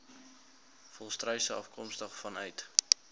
volstruise afkomstig vanuit